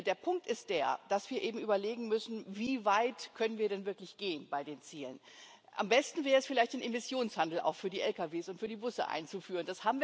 Der Punkt ist der, dass wir eben überlegen müssen Wie weit können wir denn bei den Zielen wirklich gehen? Am besten wäre es vielleicht, den Emissionshandel auch für die Lkw und für die Busse einzuführen.